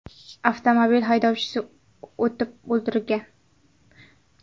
Avtomobil haydovchisi otib o‘ldirilgan.